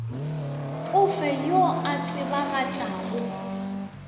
o fe yo a tsebagatšago